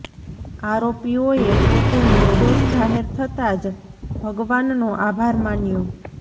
આરોપીઓએ પોતે નિર્દોષ જાહેર થતા જ ભગવાનનો આભાર માન્યો